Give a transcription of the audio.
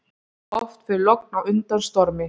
Oft fer logn á undan stormi.